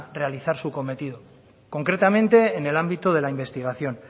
realizar su cometido concretamente en el ámbito de la investigación